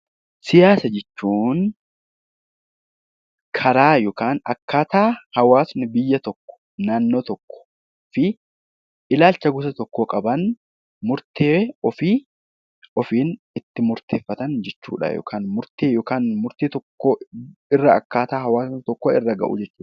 Siyaasa jechuun karaa yookaan akkaataa hawaasni biyya tokko, naannoo tokkoo fi ilaalcha gosa tokkoo qaban, murtee ofii ittiin murteeffatan jechuudha yookaan immoo murtee yookaan murtee tokko irra akkaataa hawaasa tokko irra gahu jechuudha.